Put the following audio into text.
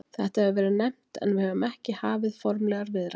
Þetta hefur verið nefnt en við höfum ekki hafið formlegar viðræður.